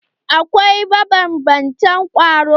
Akwai mabanbantan kwaro